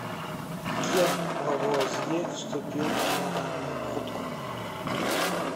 кем лавуазье вступил в генеральный откуп